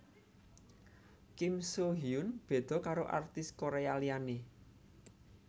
Kim Soo Hyun beda karo artis Korea liyane